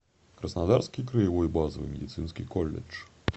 краснодарский краевой базовый медицинский колледж